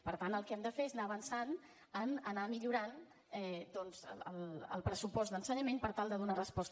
per tant el que hem de fer és anar avançant a anar millorant doncs el pressupost d’ensenyament per tal de donar resposta